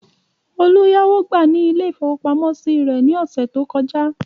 Olú yáwó gbà ní ilé-ìfowópamọ́sí rẹ̀ ní ọ̀sẹ̀ tó kọjá.